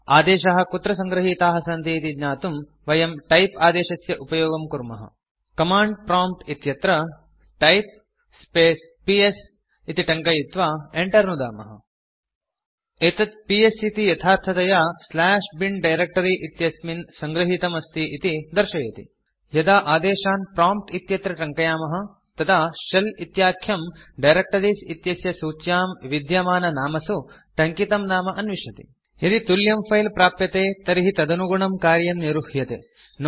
आदेशाः कुत्र सङ्गृहीताः सन्ति इति ज्ञातुं वयम् टाइप आदेशस्य उपयोगं कुर्मः कमाण्ड प्रॉम्प्ट् इत्यत्र टाइप स्पेस् पीएस इति टङ्कयित्वा enter इति नुदामः एतत् पीएस इति यथार्थतया bin डायरेक्ट्री इत्यस्मिन् सङ्गृहीतम् अस्ति इति दर्शयति यदा आदेशान् प्रॉम्प्ट् इत्यत्र टङ्कयामः तदा शेल इत्याख्यम् डायरेक्टरीज़ इत्यस्य सूच्यां विद्यमाननामसु टङ्कितं नाम अन्विष्यति यदि तुल्यं फिले प्राप्यते तर्हि तदनुगुणं कार्यं निरुह्यते